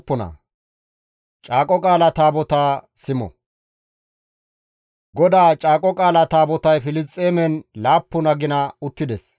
GODAA Caaqo Qaala Taabotay Filisxeemen laappun agina uttides.